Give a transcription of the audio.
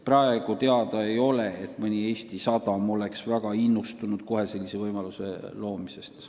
Praegu ei ole teada, et mõni Eesti sadam oleks väga innustunud kohe sellise võimaluse loomisest.